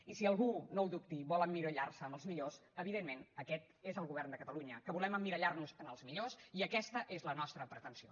i si algú no ho dubti vol emmirallar se en els millors evidentment aquest és el govern de catalunya que volem emmirallar nos en els millors i aquesta és la nostra pretensió